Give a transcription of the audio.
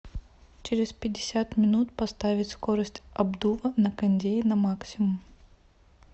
через пятьдесят минут поставить скорость обдува на кондее на максимум